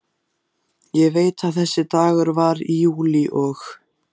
Ég veit að þessi dagur var í júlí og